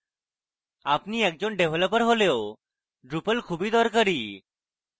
আপনি একজন ডেভেপপার হলেও drupal খুবই দরকারী